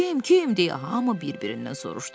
Kim, kim deyə hamı bir-birindən soruşdu.